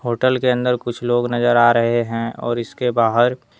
hotel के अंदर कुछ लोग नजर आ रहे हैं और इसके बाहर--